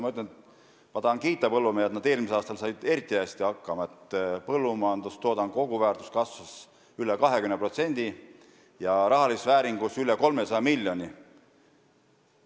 Ma tahan siinkohal kiita põllumehi, kes said eelmisel aastal eriti hästi hakkama, sest põllumajandustoodangu koguväärtus kasvas üle 20%, st rahalises vääringus üle 300 miljoni euro.